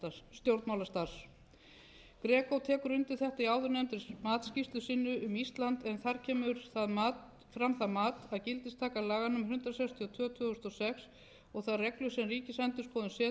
undir þetta í áðurnefndri matsskýrslu sinni um ísland en þar kemur fram það mat að gildistaka laga númer hundrað sextíu og tvö tvö þúsund og sex og þær reglur sem ríkisendurskoðun setur á grundvelli þeirra